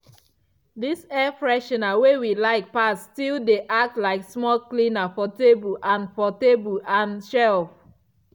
dis air freshener wey we like pass still dey act like small cleaner for table and for table and shelf.